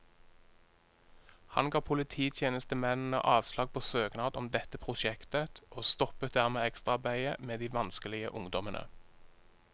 Han ga polititjenestemennene avslag på søknad om dette prosjektet, og stoppet dermed ekstraarbeidet med de vanskelige ungdommene.